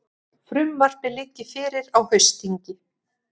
Frumvarpið liggi fyrir á haustþingi